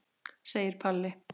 segir Palli.